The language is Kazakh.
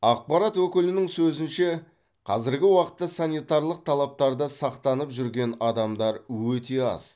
ақпарат өкілінің сөзінше қазіргі уақытта санитарлық талаптарды сақтанып жүрген адамдар өте аз